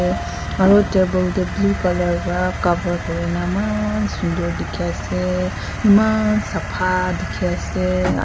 aru table blue colour cover kori na eman suder dekhi ase eman sapha dekhi ase.